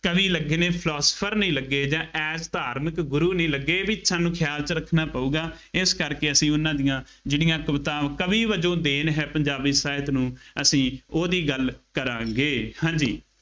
ਕਵੀ ਲੱਗੇ ਨੇ, philosopher ਨਹੀਂ ਲੱਗੇ ਜਾਂ as ਧਾਰਮਿਕ ਗੁਰੂ ਨਹੀਂ ਲੱਗੇ, ਬਈ ਇਹ ਵੀ ਸਾਨੂੰ ਖਿਆਲ ਚ ਰੱਖਣਾ ਪਊਗਾ, ਇਸ ਕਰਕੇ ਅਸੀਂ ਉਹਨਾ ਦੀਆਂ ਜਿਹੜੀਆਂ ਕਵਿਤਾਵਾਂ ਕਵੀ ਵਜੋਂ ਦੇਣ ਹੈ, ਪੰਜਾਬੀ ਸਾਹਿਤ ਨੂੰ ਅਸੀਂ ਉਹਦੀ ਗੱਲ ਕਰਾਂਗੇ, ਹਾਂਜੀ